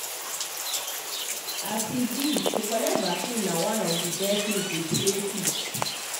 as e be to collect vaccine na one of of the best way to stay fit.